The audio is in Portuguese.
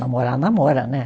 Namorar, namora, né?